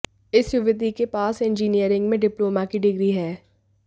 इस युवती के पास इंजिनियरिंग में डिप्लोमा की डिग्री है